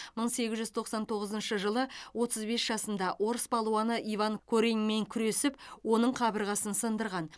мың сегіз жүз тоқсан тоғызыншы жылы отыз бес жасында орыс палуаны иван кореньмен күресіп оның қабырғасын сындырған